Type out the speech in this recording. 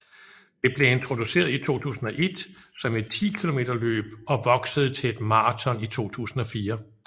Det blev introduceret i 2001 som et 10 km løb og voksede til et maraton i 2004